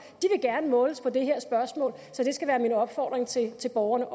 gerne vil måles på det her spørgsmål så det skal være min opfordring til til borgerne